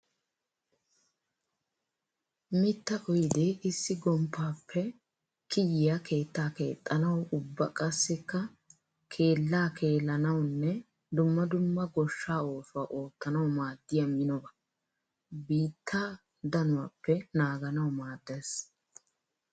mittaa oydee issi gomppappe kiyiya keetta keexxanawu ubba qassikka keella keellanawunne dumma dumma goshsha oosuwa oottanawu maaddiya minoba. Biitta danuwappe naaganawu maaddes.